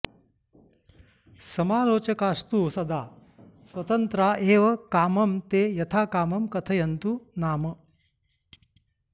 समालोचकास्तु सदा स्वतन्त्रा एव कामं ते यथाकामं कथयन्तु नाम